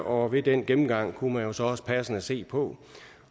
og ved den gennemgang kunne man jo så også passende se på